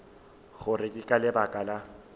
gore ke ka lebaka la